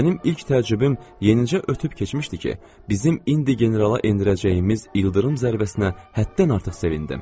Mənim ilk təcrübəm yenicə ötüb keçmişdi ki, bizim indi generala endirəcəyimiz ildırım zərbəsinə həddən artıq sevindim.